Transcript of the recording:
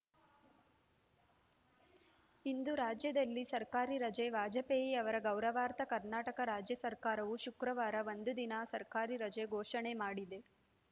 ಇಂದು ರಾಜ್ಯದಲ್ಲಿ ಸರ್ಕಾರಿ ರಜೆ ವಾಜಪೇಯಿ ಅವರ ಗೌರವಾರ್ಥ ಕರ್ನಾಟಕ ರಾಜ್ಯ ಸರ್ಕಾರವು ಶುಕ್ರವಾರ ಒಂದು ದಿನದ ಸರ್ಕಾರಿ ರಜೆ ಘೋಷಣೆ ಮಾಡಿದೆ